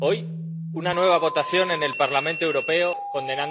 hoy, una nueva votación en el Parlamento Europeo condenando la situación en Yemen.